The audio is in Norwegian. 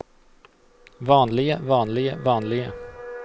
vanlige vanlige vanlige